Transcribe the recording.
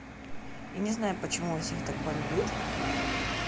я не знаю почему у всех так бомбит